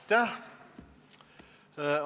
Aitäh!